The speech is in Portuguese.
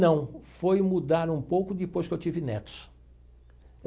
Não, foi mudar um pouco depois que eu tive netos.